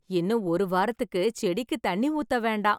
இன்னும் ஒரு வாரத்துக்கு செடிக்கு தண்ணி ஊத்தவேண்டாம்.